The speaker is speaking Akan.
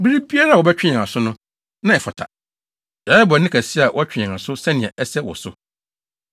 Bere biara a wobɛtwe yɛn aso no, na ɛfata. Yɛayɛ bɔne kɛse a wotwe yɛn aso sɛnea ɛsɛ wɔ so.